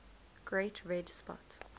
great red spot